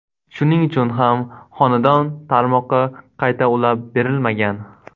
Shuning uchun ham xonadon tarmoqqa qayta ulab berilmagan.